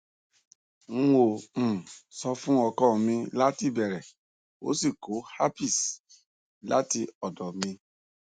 n ò um sọ fún ọkọ mi láti ìbẹrẹ ó sì kó herpes láti ọ̀dọ̀ mi